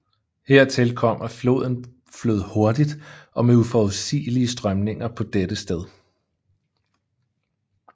Hertil kom at floden flød hurtigt og med uforudsigelige strømninger på dette sted